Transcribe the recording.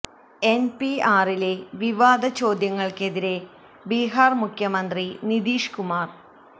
എന് പി ആറിലെ വിവാദ ചോദ്യങ്ങള്ക്കെതിരെ ബിഹാര് മുഖ്യമന്ത്രി നിതീഷ് കുമാര്